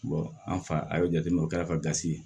an fa a y'o jateminɛ o kɛra ka gasi ye